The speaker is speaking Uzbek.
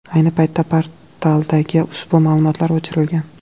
Ayni paytda portaldagi ushbu ma’lumotlar o‘chirilgan .